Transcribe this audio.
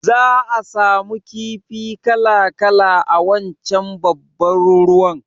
Za'a samu kifi kala-kala a wancan babban ruwan